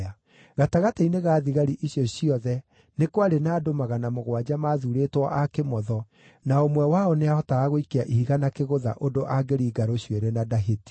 Gatagatĩ-inĩ ga thigari icio ciothe nĩ kwarĩ na andũ magana mũgwanja maathuurĩtwo a kĩmotho, na o ũmwe wao nĩahotaga gũikia ihiga na kĩgũtha ũndũ angĩringa rũcuĩrĩ na ndahĩtie.